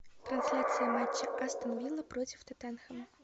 трансляция матча астон вилла против тоттенхэма